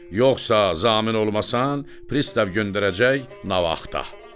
Yoxsa zamin olmasan, pristav göndərəcək navaxda.